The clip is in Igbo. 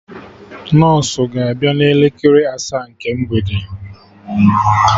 Nọsụ ga abịa na elekere asaa nke mgbede